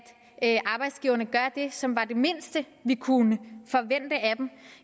at arbejdsgiverne gør det som er det mindste vi kunne forvente af dem